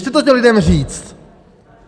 Běžte to těm lidem říct!